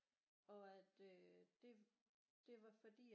Og at øh det det var fordi